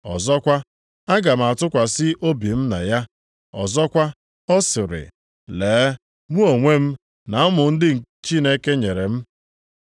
Ọzọkwa, “Aga m atụkwasị obi m na ya.” + 2:13 \+xt Aịz 8:17\+xt* Ọzọkwa, ọ sịrị, “Lee mụ onwe m, na ụmụ ndị Chineke nyere m.” + 2:13 \+xt Aịz 8:18\+xt*